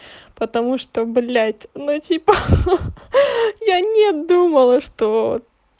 потому что блять ну типа ха ха ха я не думала что